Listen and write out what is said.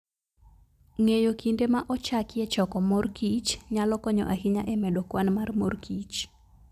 Ng'eyo kinde ma ochakie choko mor kich nyalo konyo ahinya e medo kwan mar mor kich.